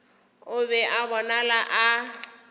o be a bonala a